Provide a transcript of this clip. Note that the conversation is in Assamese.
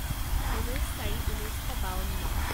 ঊনৈছ চাৰি ঊনৈছ শ বাৱন্ন